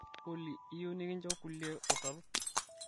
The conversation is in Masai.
olly iyieu nikincho kulie utarot